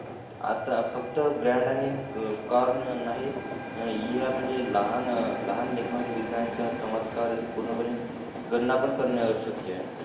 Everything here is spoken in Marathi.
आता फक्त ब्रँड आणि नाहीत या म्हणजे लहान लहान या म्हणजे लहान विज्ञान्या च्या चमत्कारा च्या पूर्ण पने त्याना पण करणे आवशक्य आहे